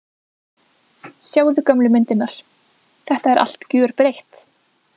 Sjáðu gömlu myndirnar, þetta er allt gjörbreytt.